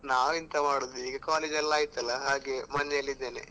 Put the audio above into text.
ನಾವ್ ಎಂತ ಮಾಡುದು ಈಗ college ಎಲ್ಲ ಆಯ್ತಲ್ಲ, ಹಾಗೆ ಮನೇಲಿ ಇದ್ದೇನೆ.